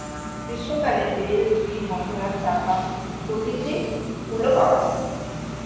গ্রীস্ম কালে বেল জুই গন্ধরাজ চাপা প্রভৃতি ফুল ও পাওয়া যায়